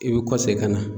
I bɛ kɔsi ka na